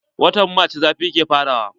Watan marc zafi ke fara wa.